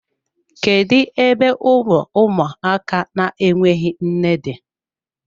Kedu ebe ụlọ ụmụaka na-enweghị nne dị?